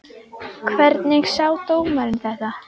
Hvernig sá dómarinn þetta?